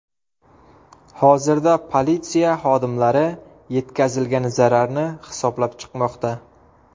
Hozirda politsiya xodimlari yetkazilgan zararni hisoblab chiqmoqda.